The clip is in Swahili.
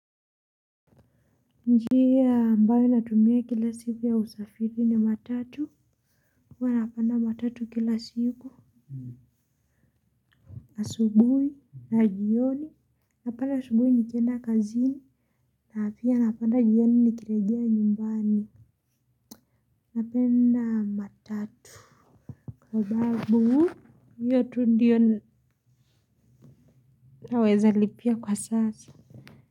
Njia ambayo natumia kila siku ya usafiri ni matatu huwa napanda matatu kila siku asubuhi na jioni napanda asubuhi nikenda kazini na pia napanda jioni nikirejea nyumbani napenda matatu sababu hiyo tu ndiyo naweza lipia kwa sasa.